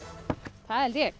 það held ég